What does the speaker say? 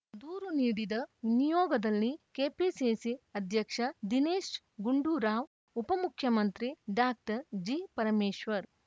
ದೂರು ನೀಡಿದ ನಿಯೋಗದಲ್ಲಿ ಕೆಪಿಸಿಸಿ ಅಧ್ಯಕ್ಷ ದಿನೇಶ್‌ ಗುಂಡೂರಾವ್‌ ಉಪಮುಖ್ಯಮಂತ್ರಿ ಡಾಕ್ಟರ್ ಜಿ ಪರಮೇಶ್ವರ್‌